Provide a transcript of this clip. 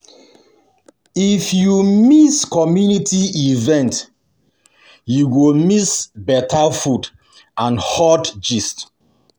If you miss community event, you go miss better food and hot gist.